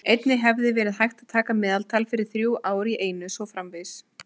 Einnig hefði verið hægt að taka meðaltal fyrir þrjú ár í einu og svo framvegis.